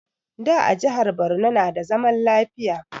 Da a jihar Borno na da zaman lafiya